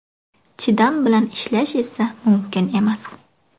Chidam bilan ishlash esa mumkin emas.